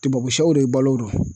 Tubabu sɛw de balo don